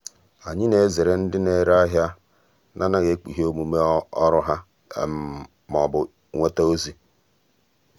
ànyị́ nà-èzèrè ndị nà-èré áhị́à nà-ànàghị́ ékpùghé ọ́mụ́mé ọ́rụ́ há ma ọ́ bụ nwéta ózị́.